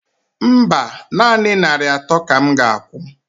Mba, nanị narị atọ ka m ga akwụ